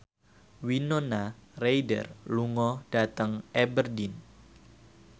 Winona Ryder lunga dhateng Aberdeen